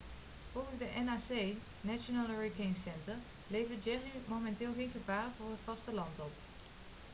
volgens de nhc national hurricane center levert jerry momenteel geen gevaar voor het vasteland op